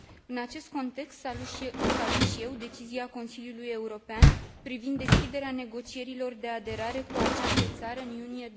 În acest context salut și eu decizia Consiliului European privind deschiderea negocierilor de aderare cu această țară în iunie